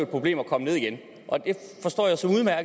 problem at komme ned igen